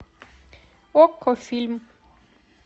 окко фильм